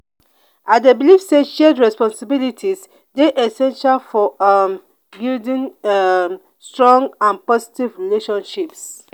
i dey believe say shared responsibilities dey essential for um building um strong and positive relationships.